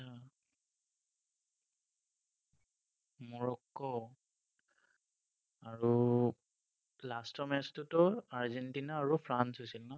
Morocco, আৰু last ৰ match টোতো আৰ্জেণ্টিনা আৰু ফ্ৰান্স হৈছিল ন?